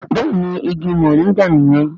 Béèni ìgi Moringa niyen.